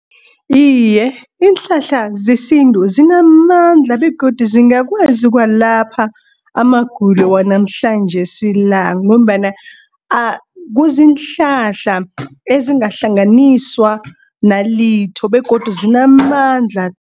Iye iinhlahla zesintu zinamandla, begodu zingakwazi ukuwalapha amagulo wanamhlanjesi la, ngombana kuziinhlahla ezingahlanganiswa nalitho begodu zinamandla.